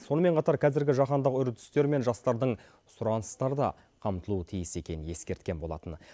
сонымен қатар қазіргі жаһандық үрдістер мен жастардың сұраныстары да қамтылуы тиіс екенін ескерткен болатын